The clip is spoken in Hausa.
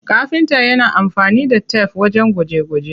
Kafinta yana amfani da tef wajen gwaje gwaje.